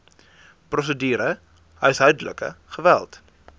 prosedure huishoudelike geweld